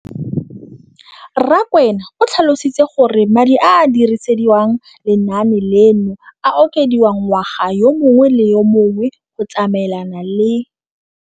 Rakwena o tlhalositse gore madi a a dirisediwang lenaane leno a okediwa ngwaga yo mongwe le yo mongwe go tsamaelana le